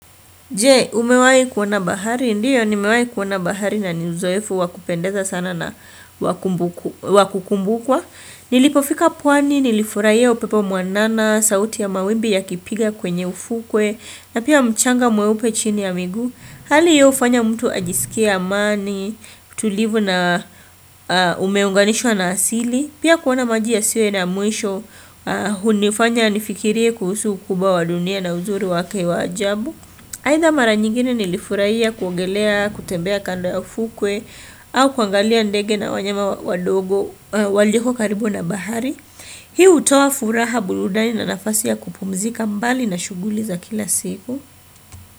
Je, umewahi kuona bahari, ndiyo nimewahi kuona bahari na ni uzoefu wakupendeza sana na wa kukumbukwa. Nilipofika pwani, nilifurahia upepo mwanana, sauti ya mawimbi yakipiga kwenye ufukwe, na pia mchanga mweupe chini ya miguu. Hali hiyo ufanya mtu ajisikie amani, utulivu na umeunganishwa na asili. Pia kuona maji yasiyo na mwisho, hunifanya nifikirie kuhusu ukubwa dunia na uzuri wake wa ajabu. Haidha mara nyingine nilifurahia kuogelea, kutembea kando ya fukwe au kuangalia ndege na wanyama wadogo walioko karibu na bahari. Hii utoa furaha, burudani na nafasi ya kupumzika mbali na shuguli za kila siku.